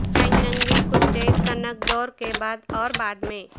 پنگنگی کتے قنگ دور کے بعد اور بعد میں